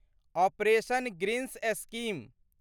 operation Greens scheme